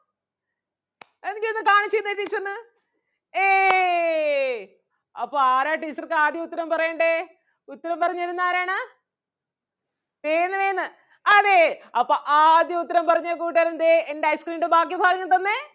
എന്നെങ്കി ഒന്ന് കാണിച്ച് തന്നേ teacher ന് ഏയ് അപ്പൊ ആരാ teacher ക്ക് ആദ്യം ഉത്തരം പറയണ്ടേ ഉത്തരം പറഞ്ഞു തരുന്നത് ആരാണ് വേഗന്ന് വേഗന്ന് അതേ അപ്പം ആദ്യം ഉത്തരം പറഞ്ഞ കൂട്ടുകാരൻ ദേ എൻ്റെ ice cream ൻ്റെ ബാക്കി ഭാഗം തന്നേ.